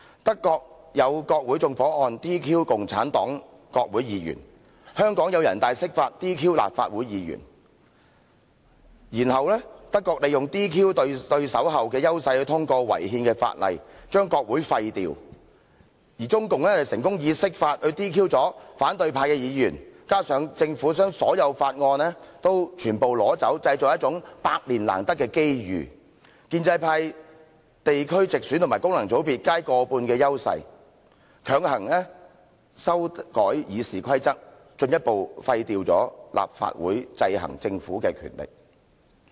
德國有國會縱火案 ，"DQ" 共產黨國會議員，香港有人大釋法 ，"DQ" 立法會議員；德國利用 "DQ" 對手後的優勢通過違憲的法例，將國會廢掉，而中共則成功以釋法 "DQ" 反對派議員，加上政府不提交任何法案，製造一種百年難得的機遇，在建制派於地區直選和功能界別皆有過半數的優勢下，強行修改《議事規則》，進一步廢掉立法會制衡政府的權力。